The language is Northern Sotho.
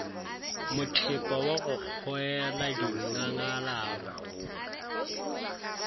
mothepa wa go kgoela dinngalaba